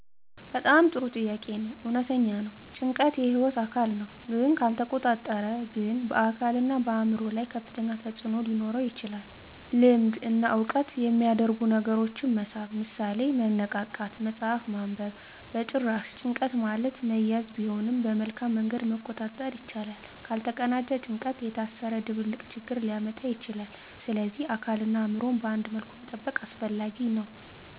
በጣም ጥሩ ጥያቄ ነው። እውነተኛ ነው — ጭንቀት የህይወት አካል ነው፣ ግን ካልተቆጣጠረ ግን በአካልና በአእምሮ ላይ ከፍተኛ ተፅዕኖ ሊኖረው ይችላል። ልምድ እና ዕውቀት የሚያደርጉ ነገሮችን መሳብ (ምሳሌ፦ መነቃቃት፣ መጽሐፍ ማንበብ) በጭራሽ፣ ጭንቀት ማለት መያዝ ቢሆንም በመልካም መንገድ መቆጣጠር ይቻላል። ካልተቀናጀ ጭንቀት የታሰረ ድብልቅ ችግር ሊያመጣ ይችላል፣ ስለዚህ አካልንና አእምሮን በአንድ መልኩ መጠበቅ አስፈላጊ ነው።